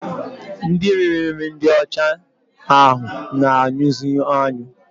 Ndị riri nri ndị ọcha ahụ na-anyụzi anyụ